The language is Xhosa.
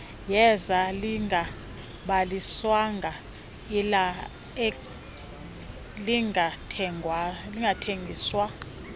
yeza lingabhaliswanga lingathengiswa